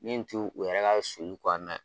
Min t'u yɛrɛ ka sulu kɔnɔna ye.